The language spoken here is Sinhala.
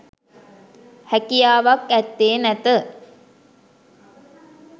හැකියාවක් ඇත්තේ නැත.